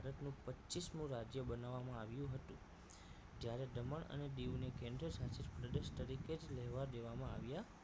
પચીસ મું રાજ્ય બનાવવામાં આવ્યું હતું ત્યારે દમણ અને દીવને કેન્દ્રશાસિત પ્રદેશ તરીકે લેવા દેવામાં આવ્યાં